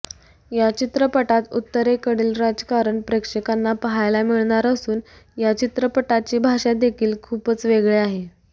या चित्रपटात उत्तरेकडील राजकारण प्रेक्षकांना पाहायला मिळणार असून या चित्रपटाची भाषा देखील खूपच वेगळी आहे